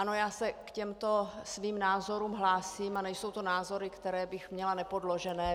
Ano, já se k těmto svým názorům hlásím a nejsou to názory, které bych měla nepodložené.